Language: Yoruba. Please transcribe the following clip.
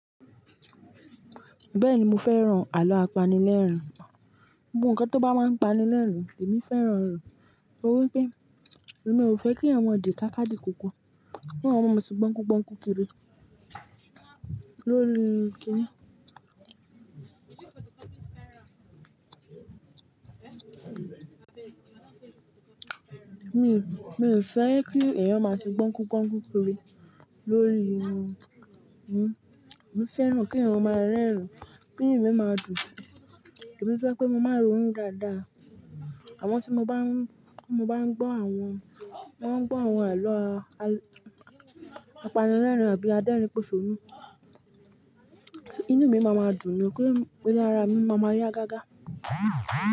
Bẹ́ẹ̀ni, mo fẹ́ran àlọ́ apanilẹ́rìn-ín gan Gbogbo nnkan tó bá máa ń pani lẹ́rìn-ín, èmi fẹ́ràn ẹ̀. Torí pé, èmi ò fẹ́ k'eyan maa dì káká dì kókó. K'eyan maa se gbọ́n kú-gbọ́n kú kiri lórí kíní. Mi, mi ò fẹ́ kí ẹ̀yàn máa se gbọ́n kú-gbọ́n kú kiri lóríi kini Mo fẹ́ràn k'eyan máa rẹ́rìn-ín, kí inú mi máa dùn. Èmi to je pé mo máa n rònu dáadáa. Amo tí mo bá ń, tí mo bá ń gbọ́ àwọn, bá ń gbọ́ àwọn àlọ́ apanilẹ́rìn-ín àbí adérìnposọ́rún, inú mi máa maa dùn ní pé se ara mi máa ma yá gágá.